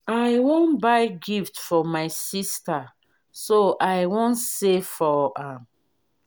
i wan buy gift for my sister so i wan save for am